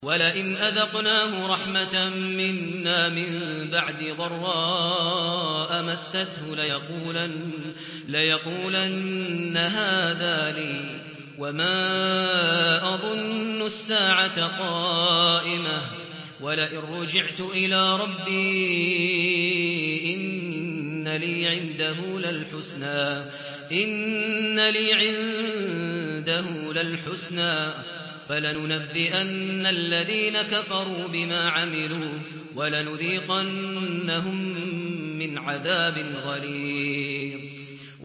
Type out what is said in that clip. وَلَئِنْ أَذَقْنَاهُ رَحْمَةً مِّنَّا مِن بَعْدِ ضَرَّاءَ مَسَّتْهُ لَيَقُولَنَّ هَٰذَا لِي وَمَا أَظُنُّ السَّاعَةَ قَائِمَةً وَلَئِن رُّجِعْتُ إِلَىٰ رَبِّي إِنَّ لِي عِندَهُ لَلْحُسْنَىٰ ۚ فَلَنُنَبِّئَنَّ الَّذِينَ كَفَرُوا بِمَا عَمِلُوا وَلَنُذِيقَنَّهُم مِّنْ عَذَابٍ غَلِيظٍ